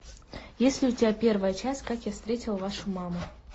есть ли у тебя первая часть как я встретил вашу маму